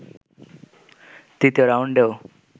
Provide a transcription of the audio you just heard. তৃতীয় রাউন্ডেও